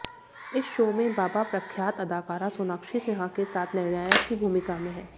इस शो में बाबा प्रख्यात अदाकारा सोनाक्षी सिन्हा के साथ निर्णायक की भूमिका में हैं